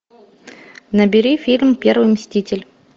набери фильм первый мститель